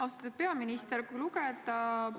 Austatud peaminister!